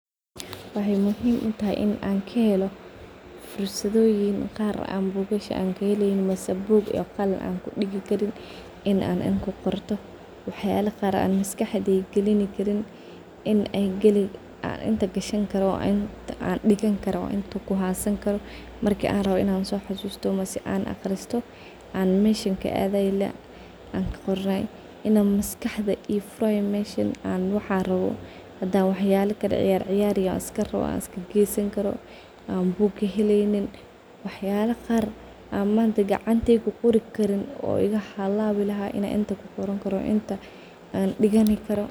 Waxay muhim utahay in an kahelo fursayodin qar an bugasha kahelin mise bug iyo qalin ankudigi karin an inta kudifto , waxyala qar an maskaxdeyda galini karin an inta gashan karo an inta digan karo an kuhasan karo , markan rawo in an so xasusto am an aqristo markan rawo in maskax maheki kari ,waxyala qar an manta gacantey kuqori karin oo igahalawi lahaa an inta kuqoran karo.